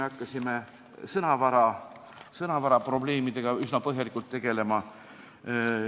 Hakkasime koguni sõnavaraprobleemidega üsna põhjalikult tegelema.